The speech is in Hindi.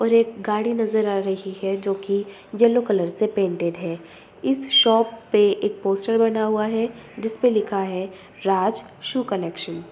और एक गाड़ी नजर आ रही है जो की यलो कलर से पेंटेड है। इस शॉप पे एक पोस्टर बना हुआ है जिस पे लिखा है राज शू कलेक्शन ।